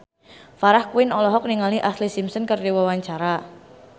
Farah Quinn olohok ningali Ashlee Simpson keur diwawancara